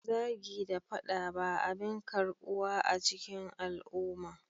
Zagi da fada ba abin karbuwa a cikin al'umma